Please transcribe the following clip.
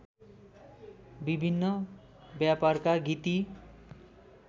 विभिन्न व्यापरका गीती